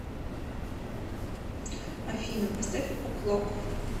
афина поставь о клок